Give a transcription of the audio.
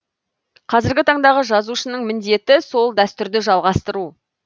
қазіргі таңдағы жазушының міндеті сол дәстүрді жалғастыру